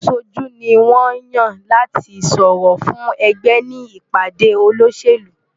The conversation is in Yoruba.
Aṣojú ni wọ́n ń yàn láti sọ̀rọ̀ fún ẹgbẹ́ ní ìpàdé olóṣèlú.